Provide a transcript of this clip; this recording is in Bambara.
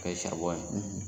N'o ye ye